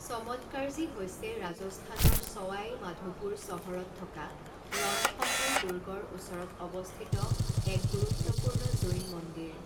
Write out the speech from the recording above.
চমৎকাৰ্জী হৈছে ৰাজস্থানৰ চৱাই মাধোপুৰ চহৰত থকা ৰণথম্বোৰ দূৰ্গৰ ওচৰত অৱস্থিত এক গুৰুত্বপূৰ্ণ জৈন মন্দিৰ।